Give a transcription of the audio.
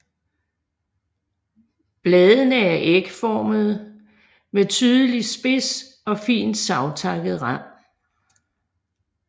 Bladene er ægformede med tydelig spids og fint savtakket rand